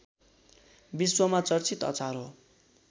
विश्वमा चर्चित अचार हो